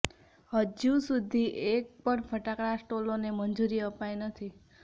હજી સુધી એક પણ ફટાકડા સ્ટોલોને મંજુરી અપાઈ નથી